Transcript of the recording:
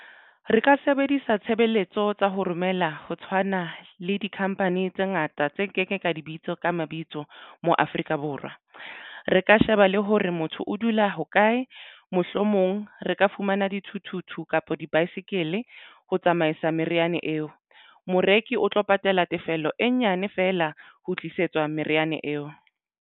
Re ka sebedisa tshebeletso tsa ho romela, ho tshwana le di-company tse ngata tse nkeke ka dibitsa ka mabitso mo Afrika Borwa. Re ka sheba le hore motho o dula hokae mohlomong re ka fumana dithuthuthu kapa di-bicycle. Ho tsamaisa meriana eo moreki o tlo patala tefello e nyane fela ho tlisetswa meriana eo.